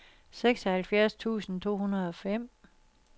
seksoghalvfjerds tusind to hundrede og fem